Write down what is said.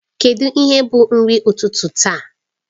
Kedụ ihe bụ nri ụtụtụ taa?